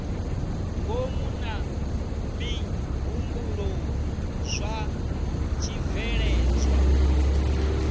ngomu na mihumbulo zwa tshibveledzwa